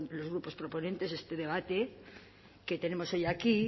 los grupos proponentes este debate que tenemos hoy aquí